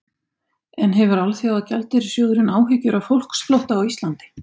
En hefur Alþjóðagjaldeyrissjóðurinn áhyggjur af fólksflótta frá Íslandi?